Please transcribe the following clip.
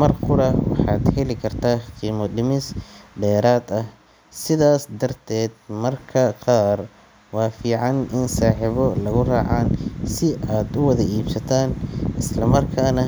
mar qura, waxaad heli kartaa qiimo dhimis dheeraad ah, sidaas darteed mararka qaar waa fiican in saaxiibo lagu raacaan si aad u wada iibsataan isla markaana.